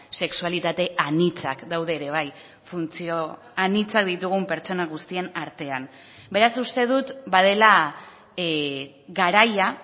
sexualitate anitzak daude ere bai funtzio anitzak ditugun pertsona guztien artean beraz uste dut badela garaia